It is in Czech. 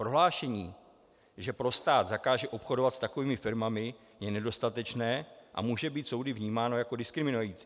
Prohlášení, že pro stát zakáže obchodovat s takovými firmami, je nedostatečné a může být soudy vnímáno jako diskriminující.